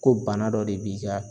Ko bana dɔ de b'i ka